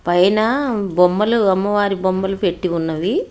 పైన బొమ్మలు అమ్మవారి బొమ్మలు పెట్టి ఉన్నవి.